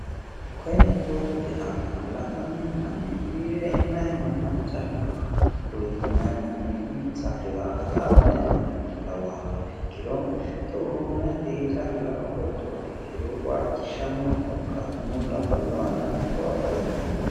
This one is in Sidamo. Koye footote aana la'nanni manni fiire meyaa mannoota caallaho. kuri meyaa manni uminsa hajora hasaawanni noore lawaaha ikkiro, togoo meyaati calla ofoltuha ikkiro waajjishshanno. korkaatuno labballu aana hekko abba dandaanno.